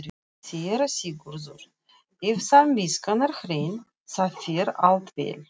SÉRA SIGURÐUR: Ef samviskan er hrein, þá fer allt vel.